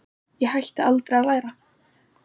Ég hætti aldrei að læra.